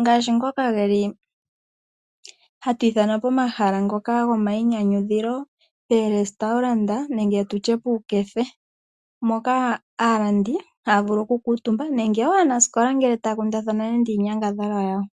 ngaashi ngoka geli hatu ithana pomahala ngoka gomayinyanyudhilo, porestaurant nende tutye puukefe moka aalandi haya vulu oku kamutumba nenge wo aanasikola ngele taya kundathana nande inyangadhalwa yawo.